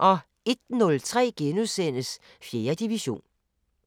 01:03: 4. division *